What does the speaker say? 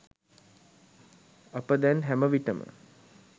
අප දැන් හැම විටම